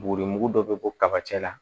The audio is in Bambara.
Buguri mugu dɔ bɛ bɔ kaba cɛ la